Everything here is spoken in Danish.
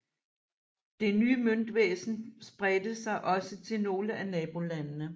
Det nye møntvæsen spredte sig også til nogle af nabolandene